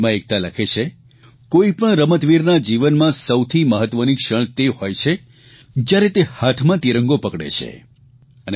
ઇમેઇલમાં એકતા લખે છે કોઇપણ રમતવીરના જીવનમાં સૌથી મહત્વની ક્ષણ તે હોય છે જયારે તે હાથમાં તિરંગો પકડે છે